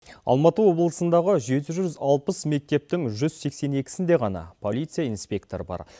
алматы облысындағы жеті жүз алпыс мектептің жүз сексен екісінде ғана полиция инспекторы бар